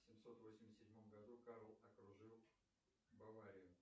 в семьсот восемьдесят седьмом году карл окружил баварию